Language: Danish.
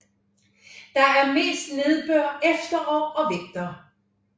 Der er mest nedbør efterår og vinter